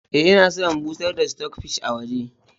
Eh, ina son in bushar da "stock fish " a waje.